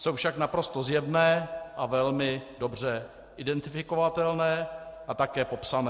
Jsou však naprosto zjevné a velmi dobře identifikovatelné a také popsané.